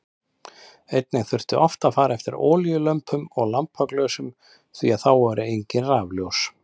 Einnig þurfti oft að fara eftir olíulömpum og lampaglösum því að þá voru engin rafljósin.